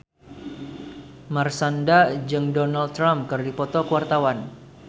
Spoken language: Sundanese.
Marshanda jeung Donald Trump keur dipoto ku wartawan